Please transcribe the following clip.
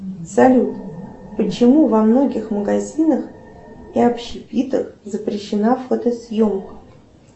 салют почему во многих магазинах и общепитах запрещена фотосъемка